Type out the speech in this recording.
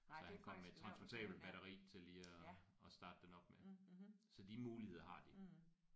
Så han kom med et transportabelt batteri til lige at at starte den op med. Så de muligheder har de